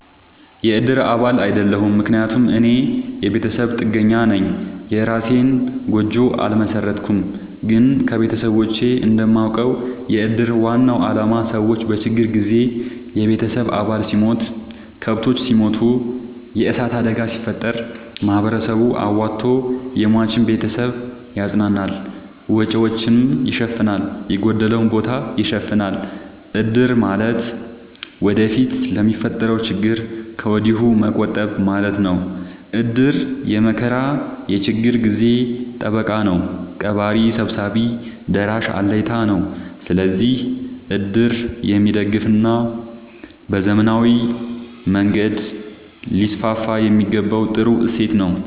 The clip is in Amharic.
የእድር አባል አይደለሁም። ምክንያቱም እኔ የቤተሰብ ጥገኛነኝ የእራሴን ጎጆ አልመሠረትኩም። ግን ከቤተሰቦቼ እንደማውቀው። የእድር ዋናው አላማ ሰዎች በችግር ጊዜ የቤተሰብ አባል ሲሞት፤ ከብቶች ሲሞቱ፤ የዕሳት አደጋ ሲፈጠር፤ ማህበረሰቡ አዋቶ የሟችን ቤተሰብ ያፅናናል፤ ወጪወቹን ይሸፋናል፤ የጎደለውን ቦታ ይሸፋናል። እድር ማለት ወደፊት ለሚፈጠረው ችግር ከወዲሁ መቆጠብ ማለት ነው። እድር የመከራ የችግር ጊዜ ጠበቃ ነው። ቀባሪ ሰብሳቢ ደራሽ አለኝታ ነው። ስለዚህ እድር የሚደገፋና በዘመናዊ መንገድ ሊስስፋየሚገባው ጥሩ እሴት ነው።